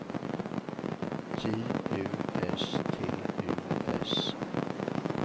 J U S T U S